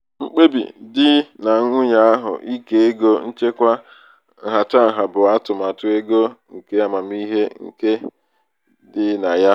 mkpebi di na nwunye ahụ ike ego nchekwa nhatanha bụ atụmatụ ego nke amamihe nke amamihe dị na ya.